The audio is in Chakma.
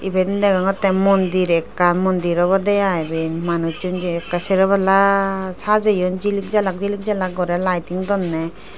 eben degogottey mondir ekkan mondir obodey ai eben manusun jay ekkey seropalla sajayoun jilik jalak jilik jalak gore lighting donney.